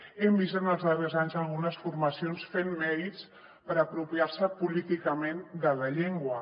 hem vist en els darrers anys algunes formacions fent mèrits per apropiar se políticament de la llengua